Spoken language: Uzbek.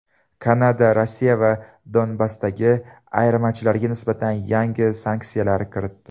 Kanada Rossiya va Donbassdagi ayirmachilarga nisbatan yangi sanksiyalarni kiritdi.